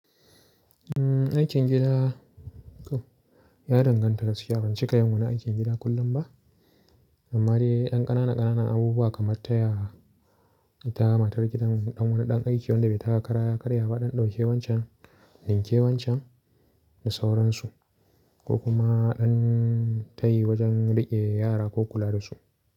Umm, aikin gida, ya danganta, shi a ban ci kai mun wani aikin gida kullum ba, amma dai ɗan ƙanana ƙanana abubuwa kamar taya, ita matar gidan ɗan wani ɗan aiki wanda bai taka karya karya ba, ɗanɗo kewancan, ninke wancan da sauransu, ko kuma an tayi wajen riƙe yara ko kula da su.